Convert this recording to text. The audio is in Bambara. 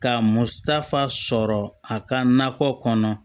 Ka musatafa sɔrɔ a ka nakɔ kɔnɔ